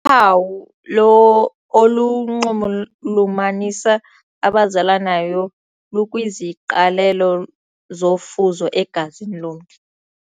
Uphawu lo olunxulumanisa abazalanayo lukwiziqalelo zofuzo egazini lomntu.